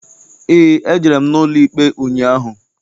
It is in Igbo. Eé, ejere m n'ụlọikpe ụnyaahụ.